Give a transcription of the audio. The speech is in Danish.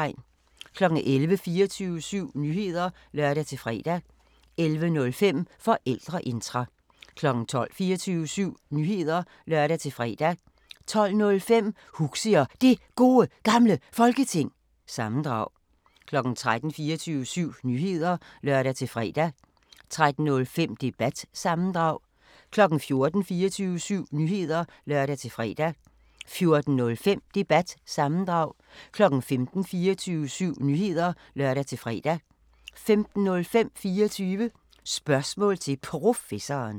11:00: 24syv Nyheder (lør-fre) 11:05: Forældreintra 12:00: 24syv Nyheder (lør-fre) 12:05: Huxi og Det Gode Gamle Folketing – sammendrag 13:00: 24syv Nyheder (lør-fre) 13:05: Debat – sammendrag 14:00: 24syv Nyheder (lør-fre) 14:05: Debat – sammendrag 15:00: 24syv Nyheder (lør-fre) 15:05: 24 Spørgsmål til Professoren